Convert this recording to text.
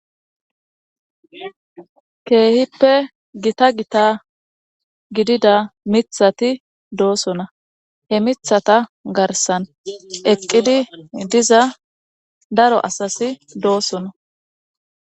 Keehippe gita gita gidida mithati doosona he mithata garsan eqqidi diza daro asasi doosona.